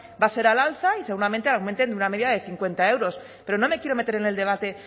va a ser al alza y seguramente aumenten una media de cincuenta euros pero no me quiero meter en el debate